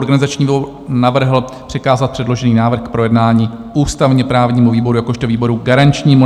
Organizační výbor navrhl přikázat předložený návrh k projednání ústavně-právnímu výboru jakožto výboru garančnímu.